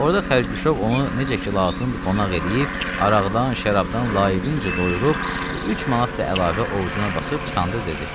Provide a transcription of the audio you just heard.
Orda xərquşov onu necə ki lazımdı qonaq eləyib, araqdan, şərabdan layiqincə doyurub, bir 3 manat da əlavə ovcuna basıb çıxanda dedi: